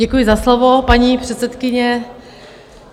Děkuji za slovo, paní předsedkyně.